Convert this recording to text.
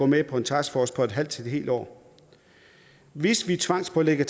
med en taskforce på et halvt til et helt år hvis vi tvangspålægger